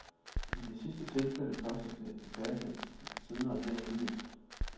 I det sidste tilfælde kostede det endda den siddende regering livet.